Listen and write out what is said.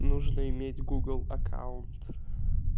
нужно иметь гугл аккаунт